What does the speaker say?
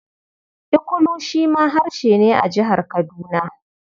Ikulu shi ma harshe ne a Jihar Kaduna.